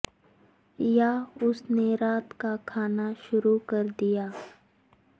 یا اس نے رات کا کھانا شروع کر دیا